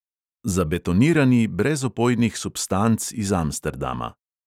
Zabetonirani brez opojnih substanc iz amsterdama.